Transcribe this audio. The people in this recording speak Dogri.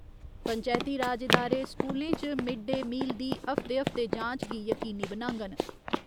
पंचैती राज इदारे स्कूलें च मिड डे मील दी हफ्ते हफ्ते जांच गी यकीनी बनाङन।